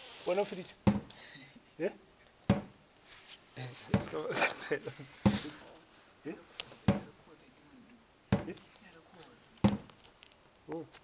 sa modirišo ge peelano go